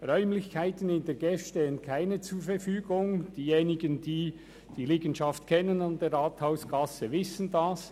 Räumlichkeiten in der GEF stehen keine zur Verfügung; diejenigen, die die Liegenschaft an der Rathausgasse kennen, wissen dies.